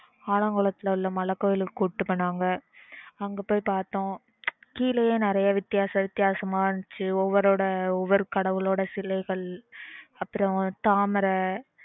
ஆலங்குளத்துல உள்ள மலைக்கோவில் க்கு கூட்டிட்டு போனாங்க அங்க பொய் பாத்தோம் கீழயே நெறைய வித்தியாசமா வித்யாசமா இருந்துச்சு ஒவொருத்தரோட சிலைகள் அப்புறம் தாமரை